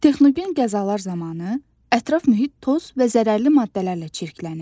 Texnogen qəzalar zamanı ətraf mühit toz və zərərli maddələrlə çirklənir.